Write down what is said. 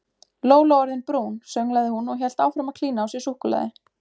Lóló orðin brún sönglaði hún og hélt áfram að klína á sig súkkulaði.